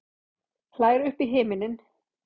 Hlær upp í himininn.